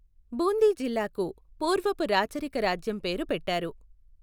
బూందీ జిల్లాకు పూర్వపు రాచరిక రాజ్యం పేరు పెట్టారు.